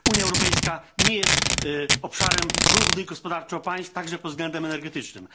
Unia Europejska nie jest obszarem równych gospodarczo państw także pod względem energetycznym.